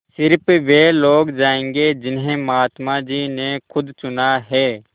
स़िर्फ वे लोग जायेंगे जिन्हें महात्मा जी ने खुद चुना है